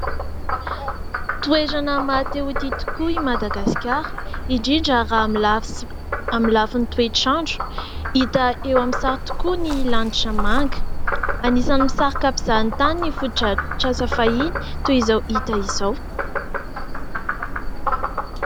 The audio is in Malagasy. Toerana mahatehoty tokoa i Madagasikara indrindra raha amin'ny lafin'ny toetr’andro. Hita eo amin'sary tokoa ny lanitra manga. Anisany misarika mpizaha-tany ny foto-drafitr’asa fahiny toy izao hita izao.